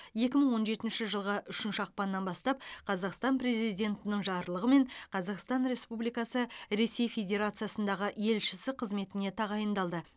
екі мың он жетінші жылғы үшінші ақпаннан бастап қазақстан президентінің жарлығымен қазақстан республикасының ресей федерациясындағы елшісі қызметіне тағайындалды